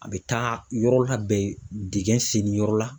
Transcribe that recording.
A bɛ taa yɔrɔ labɛn, dingɛn senni yɔrɔ la.